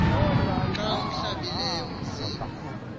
xa awuhlambileyo umzimba